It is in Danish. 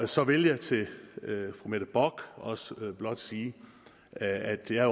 så vil jeg til fru mette bock også blot sige at jeg